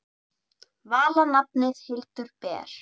Vala nafnið Hildur ber.